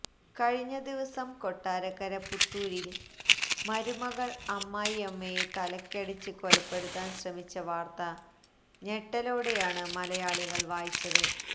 കഴിഞ്ഞ ദിവസം കൊട്ടാരക്കര പുത്തൂരിൽ മരുമകൾ അമ്മായിയമ്മയെ തലക്കടിച്ച് കൊലപ്പെടുത്താൻ ശ്രമിച്ച വാർത്ത ഞെട്ടലോടെയാണ് മലയാളികൾ വായിച്ചത്